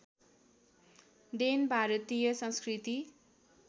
then भारतीय संस्कृति